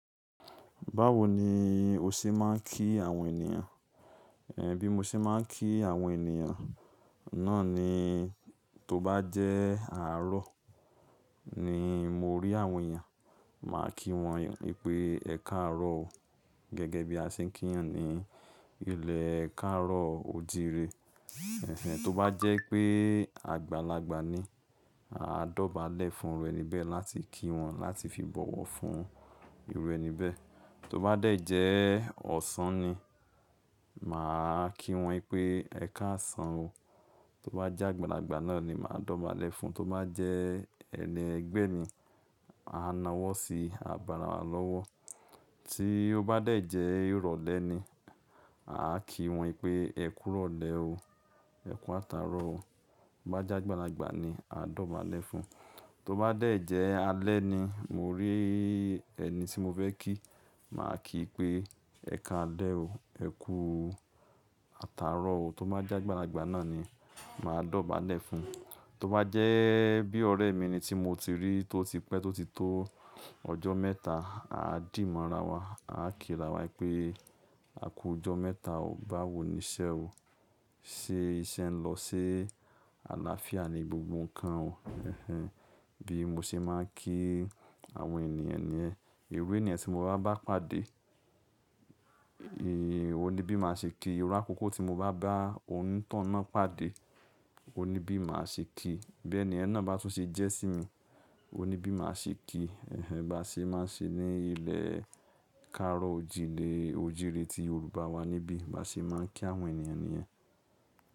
Báwo ni o ṣe máa ń kí àwọn ènìyàn? Ẹ̀hẹ̀n, bí mo ṣe máa ń kí àwọn ènìyàn náà ni, tó bá jẹ́ àárọ̀ ni mo rí àwọn ènìyàn, màá kí wọn pé "ẹ káàárọ̀ o". Gẹ́gẹ́ bí a ṣe ń kí ènìyàn ní ilẹ̀ káàárọ̀ òjire. Ẹ̀hẹ̀n, tó bá jẹ́ pé àgbàlagbà ni, aa dọ̀bálẹ̀ fún irú ẹni bẹ́ẹ̀ láti kí wọn láti fi bọ̀wọ̀ fún irú ẹni bẹ́ẹ̀. Tó bá dẹ̀ jẹ́ ọ̀sán ni, màá kí wọn pé "ẹ káàsán o". Tó bá jẹ́ àgbàlagbà náà ni, màá dọ̀bálẹ̀ fún. Tó bá jẹ́ ẹni ẹgbẹ́ mi, ma nawọ́ sí ào bo arawà lọ́wọ́. Tí ó bá dẹ̀ jẹ́ irọ̀lẹ́ ni, à kí wọn pé "ẹ kú ìrọ̀lẹ́ o, ẹ kú àtàárọ̀ o". Tó bá jẹ́ àgbàlagbà ni, a dọ̀bálẹ̀ fún. Tó bá dẹ̀ jẹ́ alẹ́ ni, mo rí ẹni tí mo fẹ́ kí, màá kí pé "ẹ káalẹ́ o, ẹ kú àtàárọ̀ o". Tó bá jẹ́ àgbàlagbà náà ni, màá dọ̀bálẹ̀ fún. Tó bá jẹ́ bí ọ̀rẹ́ mi ni tí mo ti rí, tó ti pẹ́, tó ti tó ọjọ́ mẹ́ta, a dì mora wa, a kí ra wa pé "a kú ọjọ́ mẹ́ta o". Báwo ni iṣẹ́ o? Ṣé iṣẹ́ ń lọ sé? Àlàáfíà ni gbogbo nǹkan o. Hunhun! Bí mo ṣe máa ń kí àwọn ènìyàn niyen Iru ènìyàn tí mo bá bá pàdé, òní bí màá ṣe kí i. Iru akoko tí mo bá bá onítoun náà pàdé, òní bí màá ṣe kí i. Bí ènìyen náà bá tún ṣe jẹ́ sí mi, òní bí màá ṣe kí i. Ẹ̀hẹ̀n, bá ṣe máa ń ṣe ní ilẹ̀ káàárọ̀ ojìré ti Yorùbá wa níbí. Bá ṣe máa ń kí àwọn ènìyàn ni yẹ̀n.